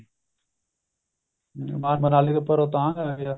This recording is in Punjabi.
ਮਨਾਲੀ ਤੋਂ ਉੱਪਰ ਰੋਹਤਾਂਗ ਆ ਗਿਆ